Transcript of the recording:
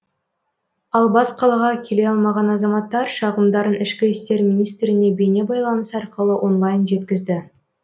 ал бас қалаға келе алмаған азаматтар шағымдарын ішкі істер министріне бейнебайланыс арқылы онлайн жеткізді